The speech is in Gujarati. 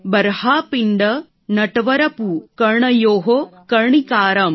બર્હાપીંડ નટવરપુઃ કર્ણયોઃ કર્ણિકારં